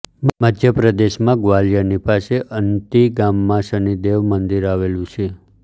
મધ્ય પ્રદેશમાં ગ્વાલિયરની પાસે અંતિ ગામમાં શનિદેવ મંદિર આવેલુ છે